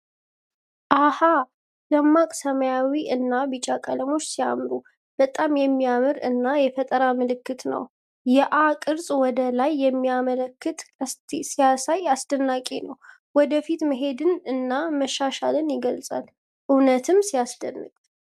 አሃ! ደማቅ ሰማያዊ እና ቢጫ ቀለሞች ሲያምሩ። በጣም የሚያምር እና የፈጠራ ምልክት ነው። የ"አ" ቅርጽ ወደ ላይ በሚያመለክት ቀስት ሲያሳይ አስደናቂ ነው። ወደ ፊት መሄድን እና መሻሻልን ይገልጻል። በእውነትም ሲያስደንቅ!